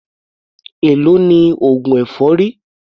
Èló ni oògùn èfọ́rí?